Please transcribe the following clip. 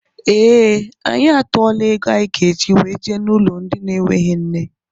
Ee, anyị atuola égo anyị ga -eji wee jee n' ụlọ ndị na enweghị nne.